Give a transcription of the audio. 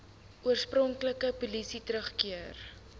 oorspronklike posisie teruggekeer